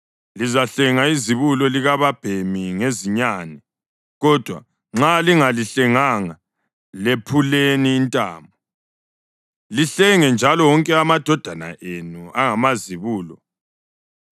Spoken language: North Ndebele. Lizahlenga izibulo likababhemi ngezinyane, kodwa nxa lingalihlenganga lephuleni intamo. Lihlenge njalo wonke amadodana enu angamazibulo.